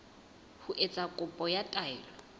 ho etsa kopo ya taelo